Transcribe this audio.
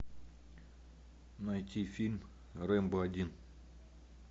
найти фильм рембо один